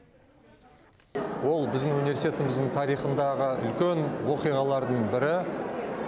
ол біздің университетіміздің тарихындағы үлкен оқиғалардың бірі